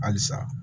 Halisa